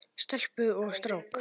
Stelpu og strák.